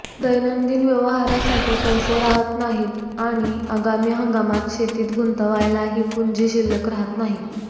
दैनंदिन व्यवहारासाठी पैसे राहत नाहीत आणि आगामी हंगामात शेतीत गुंतवायलाही पुंजी शिल्लक राहत नाही